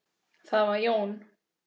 Það var Jón